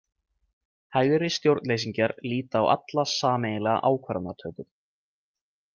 Hægri stjórnleysingjar líta á alla sameiginlega ákvarðanatöku.